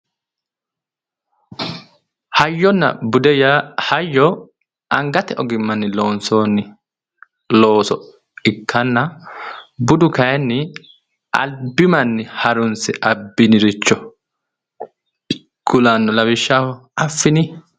Hayyonna bude Yaa hayyo angatte ogimanni loonsoonni looso ikkanna budu kayiinni albi manni harunisse abbinoha ikkannoe, lawishshaho affini.